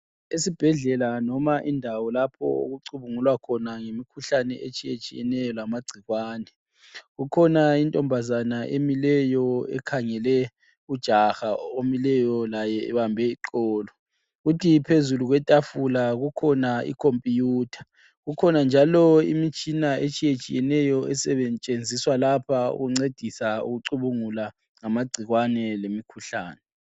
Esibhedlela noma indawo lapho okucubungulwa khona ngemikhuhlane etshiyetshiyeneyo lamagcikwane. Kukhona intombazana emileyo ekhangele ujaha omileyo laye ebambe iqolo. Kuthi phezulu kwetafula kukhona ikhompuyutha . Kukhona njalo imitshina etshiyetshiyeneyo esetshenziswa lapho ukuncedisa ukucubungula ngamagcikwane lemikhuhlane.